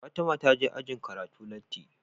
Fatima taje ajin karatu latti